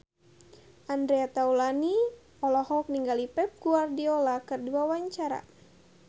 Andre Taulany olohok ningali Pep Guardiola keur diwawancara